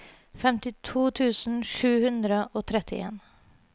femtito tusen sju hundre og trettien